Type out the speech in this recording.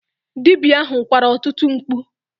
Dibia ahụ kwara ọtụtụ mkpu.